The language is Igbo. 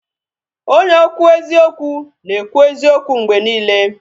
Onye okwu eziokwu na ekwu eziokwu mgbe niile